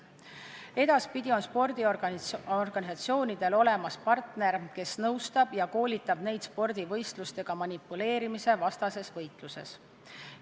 Eelnõu järgi on edaspidi spordiorganisatsioonidel olemas partner, kes nõustab ja koolitab neid spordivõistlustega manipuleerimise vastases võitluses.